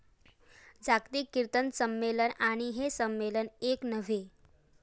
जागतिक किर्तन संमेलन आणि हे संमेलन एक नव्हे.